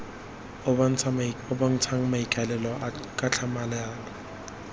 o bontshang maikaelelo ka tlhamalalo